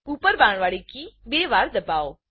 ઉપર બાણવાડી કી બે વાર દબાવો